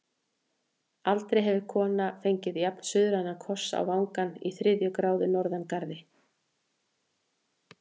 Aldrei hefur kona fengið jafn-suðrænan koss á vangann í þriðju gráðu norðangarði.